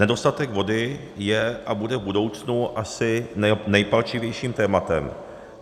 Nedostatek vody je a bude v budoucnu asi nejpalčivějším tématem.